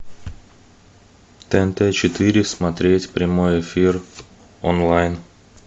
тнт четыре смотреть прямой эфир онлайн